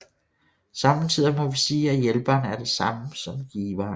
Somme tider må vi sige at hjælperen er det samme som giveren